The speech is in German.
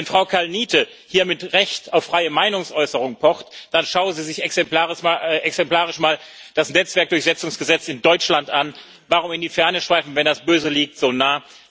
Wenn Frau Kalniete hier mit Recht auf freie Meinungsäußerung pocht, dann schauen Sie sich exemplarisch mal das Netzwerkdurchsetzungsgesetz in Deutschland an warum in die Ferne schweifen, wenn das Böse liegt so nah.